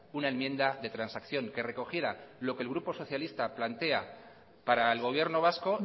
una enmienda de transacción que recogiera lo que el grupo socialista plantea para el gobierno vasco